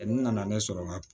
N nana ne sɔrɔ n ka